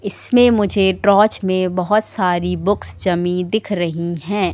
इसमें मुझे ट्रौच में बहोत सारी बुक्स जमी दिख रही है।